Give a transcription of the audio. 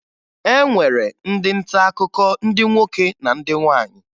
E nwere ndị ntaakụkọ ndị nwoke na ndị nwaanyị